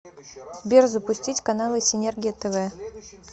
сбер запустить каналы синергия тв